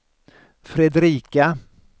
Fredrika